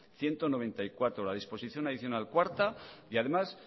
ciento noventa y cuatro la disposición adicional cuarta y además